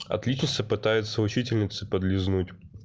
отличница пытается учительнице подлизнуть